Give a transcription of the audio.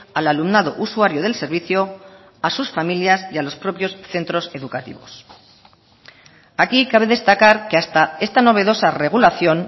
al alumnado usuario del servicio a sus familias y a los propios centros educativos aquí cabe destacar que hasta esta novedosa regulación